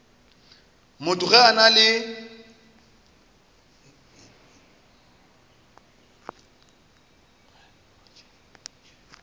motho ge a na le